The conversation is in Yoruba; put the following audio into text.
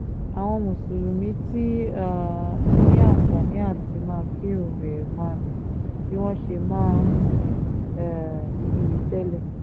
àwọn mùsùlùmí ti um ní àǹfààní àti máa kírun ẹ̀ẹ̀marùn-ún bí wọ́n ṣe máa ń um kí i tẹ́lẹ̀